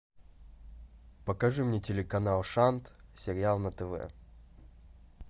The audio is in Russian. покажи мне телеканал шант сериал на тв